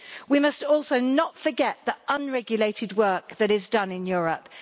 We must also not forget the unregulated work that is done in Europe.